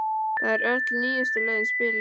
Það eru öll nýjustu lögin spiluð.